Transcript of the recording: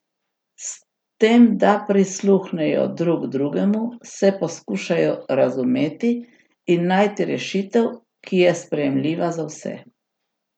S tem, da prisluhnejo drug drugemu, se poskušajo razumeti in najti rešitev, ki je sprejemljiva za vse.